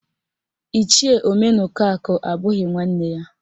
Ichie Omenaụkọakụ abụghị nwanne ya